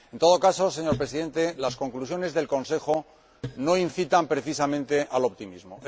En todo caso, señor Presidente, las conclusiones del Consejo no incitan precisamente al optimismo.